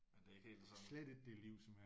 Men det er ikke helt det samme